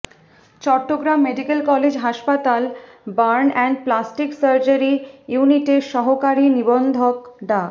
Chittagong medical college হাসপাতাল burn and plastic surgery ইউনিটের সহকারি নিবন্ধক ডা